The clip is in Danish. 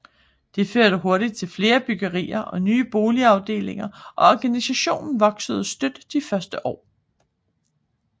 Det førte hurtig til flere byggerier og nye boligafdelinger og organisationen voksede støt de første år